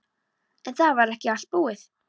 En það var ekki allt búið.